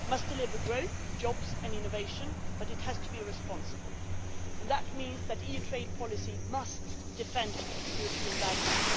It must deliver growth, jobs and innovation, but it has to be responsible, and that means that EU trade policy must defend European values.